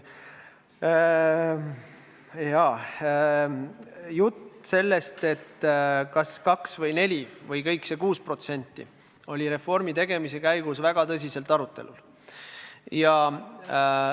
Jah, jutt sellest, kas maksta välja 2% või 4% või kogu see 6%, oli reformi tegemise käigus väga tõsiselt arutelu all.